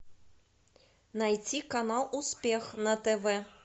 найти канал успех на тв